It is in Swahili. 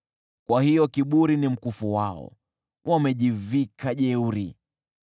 Kwa hiyo kiburi ni mkufu wao, wamejivika jeuri.